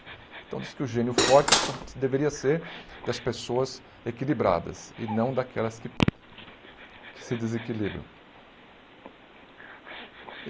Então dizem que o gênio forte só deveria ser das pessoas equilibradas e não daquelas que que se desequilibram.